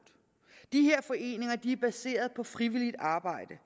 de er baseret på frivilligt arbejde